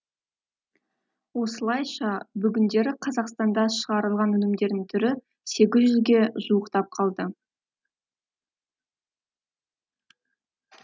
осылайша бүгіндері қазақстанда шығарылған өнімдердің түрі сегіз жүзге жуықтап қалды